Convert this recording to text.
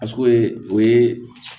o ye